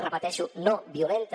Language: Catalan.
repeteixo no violenta